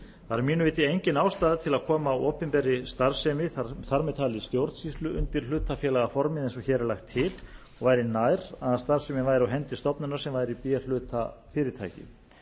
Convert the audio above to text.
að mínu viti engin ástæða er til að koma opinberri starfsemi þar með talið stjórnsýslu undir hlutafélagaformið eins og hér er lagt til og væri nær að starfsemin væri á hendi stofnunar sem væri b hluta fyrirtæki